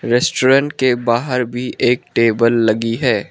Restaurant के बाहर भी एक टेबल लगी है।